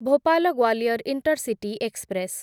Bhopal Gwalior intercity express